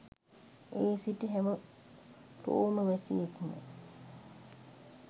එහි සිටි හැම රෝම වැසියෙක්ම